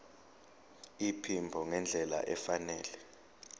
iphimbo ngendlela efanele